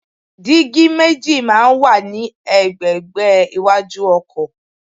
Dígí méjì máa ń wà ní ẹ̀gbẹ̀ẹ̀gbá iwájú ọkọ̀.